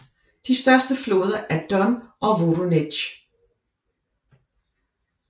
De største floder er Don og Voronezj